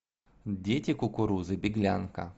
дети кукурузы беглянка